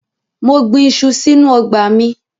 Mo gbin iṣu sínú ọgbà mi.